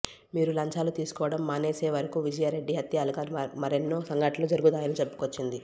మీరు లంచాలు తీసుకోవడం మానేసేవరకు విజయారెడ్డి హత్యలాగా మరొన్నే సంఘటనలు జరుగుతాయని చెప్పుకొచ్చింది